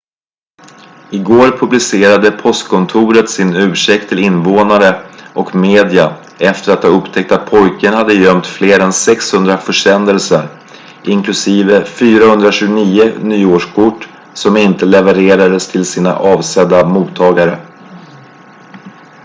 i går publicerade postkontoret sin ursäkt till invånare och media efter att ha upptäckt att pojken hade gömt fler än 600 försändelser inklusive 429 nyårskort som inte levererades till sina avsedda mottagare